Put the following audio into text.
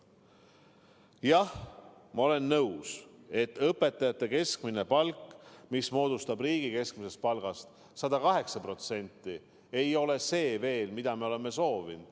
Jah, ma olen nõus, et õpetajate keskmine palk, mis moodustab riigi keskmisest palgast 108%, ei ole veel see, mida me oleme soovinud.